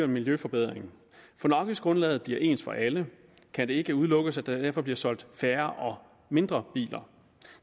miljøforbedring for når afgiftsgrundlaget bliver ens for alle kan det ikke udelukkes at der derfor bliver solgt færre mindre biler